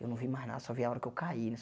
Eu não vi mais nada, só vi a hora que eu caí.